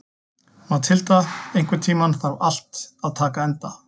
Mathilda, einhvern tímann þarf allt að taka enda.